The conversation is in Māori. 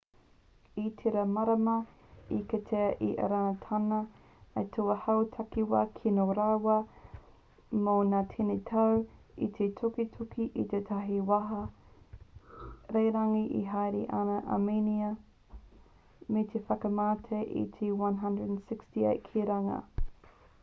i tērā marama i kitea e irāna tana aituā hau takiwā kino rawa mō ngā tini tau i te tukituki a tētahi waka rererangi e haere ana ki amēnia me te whakamate i te 168 ki runga